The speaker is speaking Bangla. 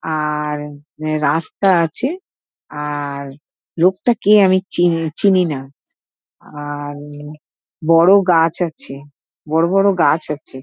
আর রাস্তা আছে আর লোকটা কে আমি চি চিনি না আর বড় গাছ আছে বড় বড় গাছ আছে ।